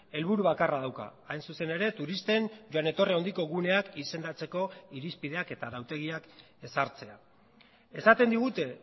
helburu bakarra dauka hain zuzen ere turisten joan etorri handiko guneak izendatzeko irizpideak eta arautegiak ezartzea esaten digute